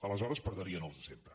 aleshores perdrien els de sempre